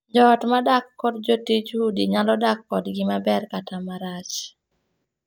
Joot modak kod jotij udi nyalo dak kodgi maber kata marach.